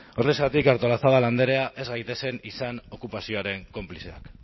horrexegatik artolazabal andrea ez gaitezen izan okupazioaren konplizeak